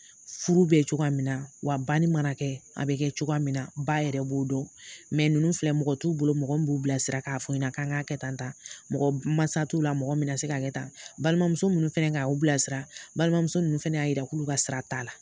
Furu bɛ cogoya min na, wa banni mana kɛ, a bɛ kɛ cogoya min na, ba yɛrɛ b'o dɔn mɛ ninnu filɛ mɔgɔ t'u bolo mɔgɔ min b'u bilasira k'a fɔ o ɲɛna kan ka kɛ tan tan mɔgɔ mansa t'u la mɔgɔ min na se ka kɛ tan balimamuso minnu fɛnɛ ka o bilasira, balimamuso ninnu fɛnɛ y'a yira k'u ka sira t'a la.